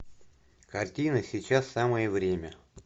картина сейчас самое время